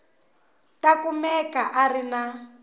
ta kumeka a ri na